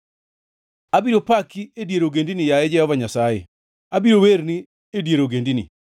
Abiro paki e dier ogendini, yaye Jehova Nyasaye. Abiro werni e dier ogendini.